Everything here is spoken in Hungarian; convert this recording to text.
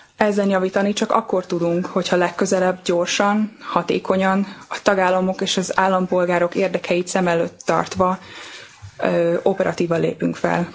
Ezen javítani csak akkor tudunk, hogyha legközelebb gyorsan, hatékonyan, a tagállamok és az állampolgárok érdekeit szem előtt tartva operatívan lépünk fel.